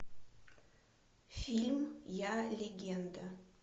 фильм я легенда